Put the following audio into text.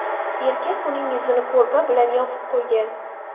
Erkak uning yuzini ko‘rpa bilan yopib qo‘ygan.